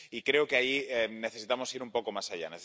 Y creo que ahí necesitamos ir un poco más allá.